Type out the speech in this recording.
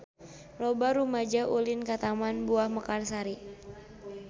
Loba rumaja ulin ka Taman Buah Mekarsari